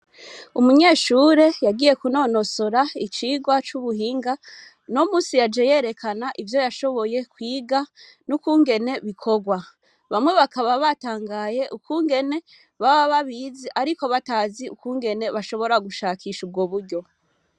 Umunyeshure yagiye kunonosora icigwa c'ubuhinga. Uno musi yaje yerekana ivyo yashoboye kwiga n'ukungene bikorwa. Bamwe bakaba batangaye ukungene baba babizi ariko bakaba batazi ukungene bashobora gushakisha ubwo buryo.